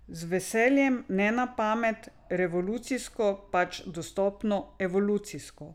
Z veseljem, ne na pamet, revolucijsko, pač postopoma, evolucijsko.